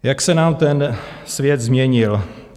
Jak se nám ten svět změnil.